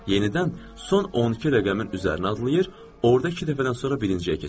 Yenidən son 12 rəqəmin üzərinə adlayır, orada iki dəfədən sonra birinciyə keçir.